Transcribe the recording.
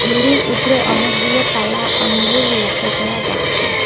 ঝুড়ির উপরে অনেকগুলো কালা আঙ্গুর লক্ষ করা যাচ্ছে।